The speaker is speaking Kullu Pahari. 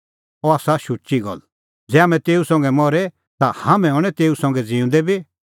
अह आसा शुची गल्ल ज़ै हाम्हैं तेऊ संघै मरे ता हाम्हैं हणैं तेऊ संघै ज़िऊंदै बी